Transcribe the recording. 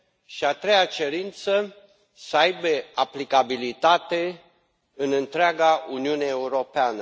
și a treia cerință, să aibă aplicabilitate în întreaga Uniune Europeană.